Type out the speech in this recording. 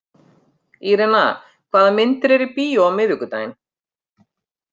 Irena, hvaða myndir eru í bíó á miðvikudaginn?